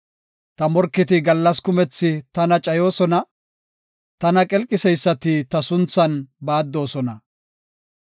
Ta morketi gallas kumethi tana cayoosona; tana qelqiseysati ta sunthan baaddoosona.